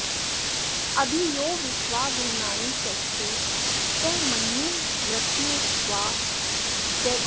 अ॒भि यो विश्वा॒ भुव॑नानि॒ चष्टे॒ स म॒न्युं मर्त्ये॒ष्वा चि॑केत